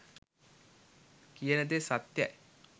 කියන දේ සත්‍යයි.